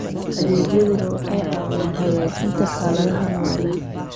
Adeegyadani waxay caawiyaan hagaajinta xaaladaha nololeed.